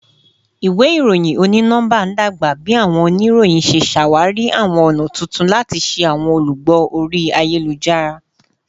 Iwe iroyin oni-nọmba n dagba bi awọn oniroyin ṣe ṣawari awọn ọna tuntun lati ṣe awọn olugbo ori ayelujara